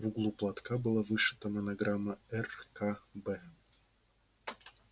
в углу платка была вышита монограмма р к б